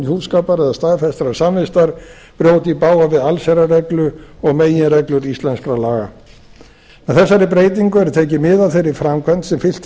hjúskapar eða staðfestrar samvistar brjóti í bága við allsherjarreglu og meginreglur íslenskra laga með þessari breytingu er tekið mið af þeirri framkvæmd sem fylgt